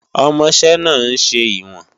Ọmọṣẹ́ náà ń ṣe ìwọ̀n